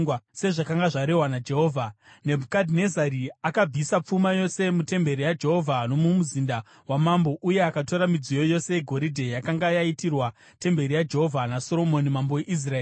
Sezvakanga zvarehwa naJehovha, Nebhukadhinezari akabvisa pfuma yose mutemberi yaJehovha nomumuzinda wamambo, uye akatora midziyo yose yegoridhe yakanga yaitirwa temberi yaJehovha naSoromoni mambo weIsraeri.